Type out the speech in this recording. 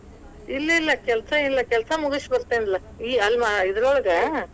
ಇಲ್ಲಾ ಇಲ್ಲಾ ಕೆಲ್ಸಾ ಇಲ್ಲಾ, ಕೆಲ್ಸಾ ಮುಗಿಸ್ ಬತೇ೯ನಲಾ, ಈ ಅಲ್ವಾ ಇದರೊಳಗ,